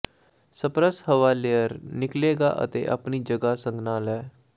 spurs ਹਵਾ layer ਨਿਕਲੇਗਾ ਅਤੇ ਆਪਣੀ ਜਗ੍ਹਾ ਸੰਘਣਾ ਲੈ